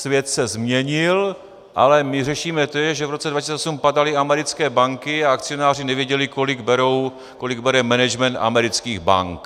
Svět se změnil, ale my řešíme to, že v roce 2008 padaly americké banky a akcionáři nevěděli, kolik bere management amerických bank.